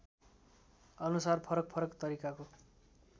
अनुसार फरकफरक तरिकाको